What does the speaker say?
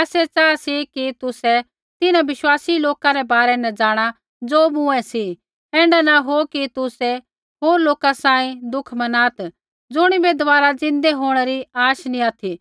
आसै च़ाहा कि तुसै तिन्हां विश्वासी लोका रै बारै न जाँणा ज़ो मूँऐं सी ऐण्ढा नी हो कि तुसै होर लोका सांही दुःख मनात् ज़ुणिबै दबारा ज़िन्दै होंणै री आश नी ऑथि